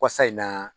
Wasa in na